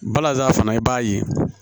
Balazan fana i b'a ye